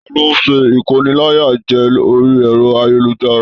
Taló n sé ikóníláyàjẹ̀ orí ẹrọ ayélujára?